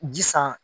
Ji san